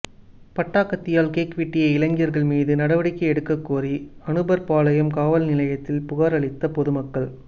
பட்டா கத்தியால் கேக் வெட்டிய இளைஞர்கள் மீது நடவடிக்கை எடுக்கக்கோரி அனுப்பர்பாளையம் காவல் நிலையத்தில் புகார் அளித்த பொதுமக்கள்